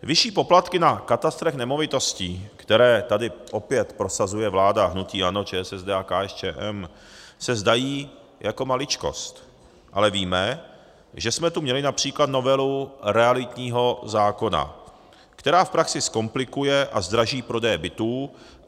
Vyšší poplatky na katastrech nemovitostí, které tady opět prosazuje vláda hnutí ANO, ČSSD a KSČM, se zdají jako maličkost, ale víme, že jsme tu měli například novelu realitního zákona, která v praxi zkomplikuje a zdraží prodeje bytů.